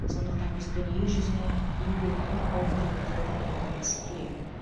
сондықтан біз дүние жүзіне еңбекқор ұлт ретінде танылуымыз керек